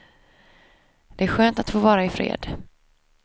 Det är skönt att få vara ifred.